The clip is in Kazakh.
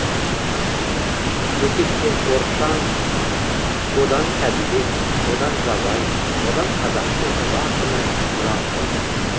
өтептен оршаң одан сәдібек одан жабай одан қазақтың ұлы ақыны жамбыл